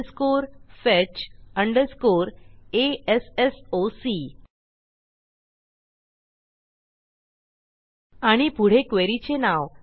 a s s o C आणि पुढे query चे नाव